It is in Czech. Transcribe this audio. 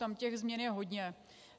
Tam těch změn je hodně.